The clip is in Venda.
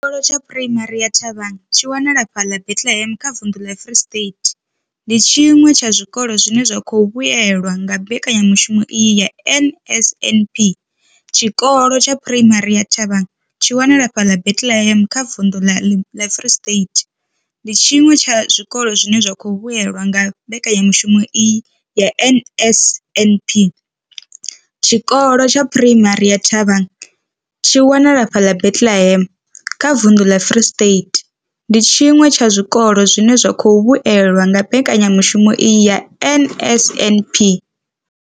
Tshikolo tsha Phuraimari ya Thabang tshi wanalaho fhaḽa Bethlehem kha vunḓu ḽa Free State, ndi tshiṅwe tsha zwikolo zwine zwa khou vhuelwa nga mbekanyamushumo iyi ya NSNP. Tshikolo tsha Phuraimari ya Thabang tshi wanalaho fhaḽa Bethlehem kha vunḓu ḽa Free State, ndi tshiṅwe tsha zwikolo zwine zwa khou vhuelwa nga mbekanyamushumo iyi ya NSNP. Tshikolo tsha Phuraimari ya Thabang tshi wanalaho fhaḽa Bethlehem kha vunḓu ḽa Free State, ndi tshiṅwe tsha zwikolo zwine zwa khou vhuelwa nga mbekanyamushumo iyi ya NSNP.